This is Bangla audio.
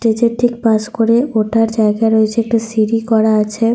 স্টেজ -এর ঠিক পাশ করে ওঠার জায়গা রয়েছে। একটা সিঁড়ি করা আছে।